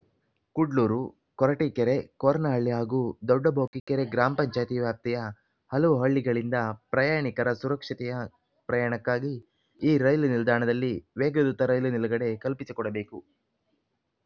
ಕುಡ್ಲೂರು ಕೊರಟೀಕೆರೆ ಕೋರನಹಳ್ಳಿ ಹಾಗೂ ದೊಡ್ಡಬೋಕೀಕೆರೆ ಗ್ರಾಮ ಪಂಚಾಯಿತಿ ವ್ಯಾಪ್ತಿಯ ಹಲವು ಹಳ್ಳಿಗಳಿಂದ ಪ್ರಯಾಣಿಕರ ಸುರಕ್ಷತೆಯ ಪ್ರಯಾಣಕ್ಕಾಗಿ ಈ ರೈಲು ನಿಲ್ದಾಣದಲ್ಲಿ ವೇಗದೂತ ರೈಲು ನಿಲುಗಡೆ ಕಲ್ಪಿಸಿಕೊಡಬೇಕು